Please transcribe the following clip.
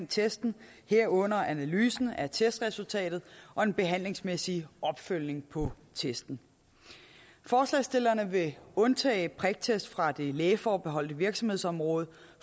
testen herunder analysen af testresultatet og den behandlingsmæssige opfølgning på testen forslagsstillerne vil undtage priktest fra det lægeforbeholdte virksomhedsområde